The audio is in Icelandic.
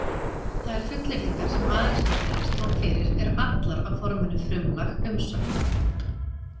Þær fullyrðingar sem Aristóteles tók fyrir eru allar á forminu frumlag-umsögn.